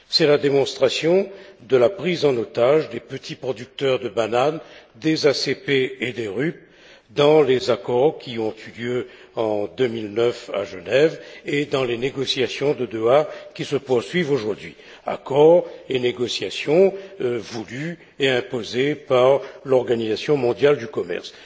C'est la démonstration de la prise en otage des petits producteurs de banane, des ACP et des RUP, dans les accords qui ont eu lieu en 2009 à Genève et dans les négociations de Doha qui se poursuivent aujourd'hui, accords et négociations voulus et imposés par l'Organisation mondiale du commerce.